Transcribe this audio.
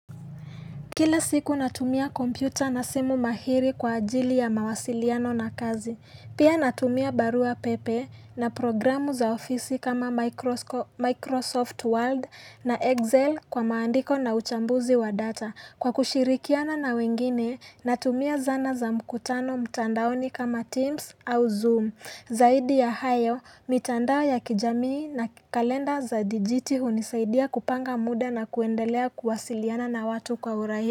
Kila siku natumia kompyuta na simu mahiri kwa ajili ya mawasiliano na kazi. Pia natumia barua pepe na programu za ofisi kama Microsoft Word na Excel kwa maandiko na uchambuzi wa data. Kwa kushirikiana na wengine, natumia zana za mkutano mtandaoni kama Teams au Zoom. Zaidi ya hayo, mtandao ya kijamii na kalenda za dijiti hunisaidia kupanga muda na kuendelea kuwasiliana na watu kwa urahisi.